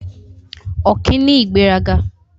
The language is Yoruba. Ọ̀kín ní ìgbéraga.